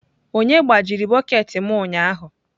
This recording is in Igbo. Onye gbajiri bọket m ụnyahụ?